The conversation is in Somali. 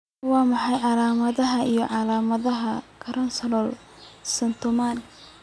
Waa maxay calaamadaha iyo calaamadaha Crandall syndrome?